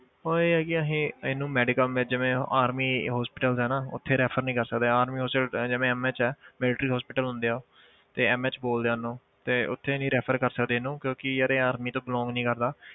ਉਹ ਇਹ ਆ ਕਿ ਅਸੀਂ ਇਹਨੂੰ medical ਜਿਵੇਂ army hospitals ਆ ਨਾ ਉੱਥੇ refer ਨੀ ਕਰ ਸਕਦੇ army hospital ਜਿਵੇਂ MH ਆ military hospital ਹੁੰਦੇ ਆ ਉਹ ਤੇ MH ਬੋਲਦੇ ਆ ਉਹਨੂੰ ਤੇ ਉੱਥੇ ਨੀ refer ਕਰ ਸਕਦੇ ਇਹਨੂੰ ਕਿਉਂਕਿ ਯਾਰ ਇਹ army ਤੋਂ belong ਨੀ ਕਰਦਾ।